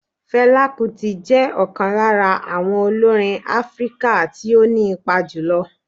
Fela Kuti jẹ́ ọ̀kan lára àwọn olórin Áfíríkà tí ó ní ipa jùlọ